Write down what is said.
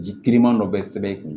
Ji kiriman dɔ bɛ sɛbɛn i kun